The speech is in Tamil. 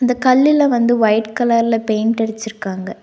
அந்த கல்லுல வந்து ஒயிட் கலர்ல பெயிண்ட் அடிச்சுருக்காங்க.